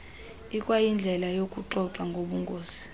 ikwayindlela yokuxoxa ngobungozi